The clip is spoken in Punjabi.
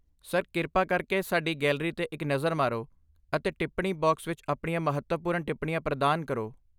ਸਰ, ਕਿਰਪਾ ਕਰਕੇ ਸਾਡੀ ਗੈਲਰੀ 'ਤੇ ਇੱਕ ਨਜ਼ਰ ਮਾਰੋ ਅਤੇ ਟਿੱਪਣੀ ਬਾਕਸ ਵਿੱਚ ਆਪਣੀਆਂ ਮਹੱਤਵਪੂਰਨ ਟਿੱਪਣੀਆਂ ਪ੍ਰਦਾਨ ਕਰੋ।